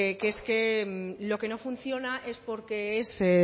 que es que lo que no funciona es porque es